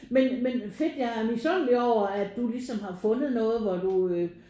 Men men fedt jeg er misundelig over at du ligesom har fundet noget hvor du øh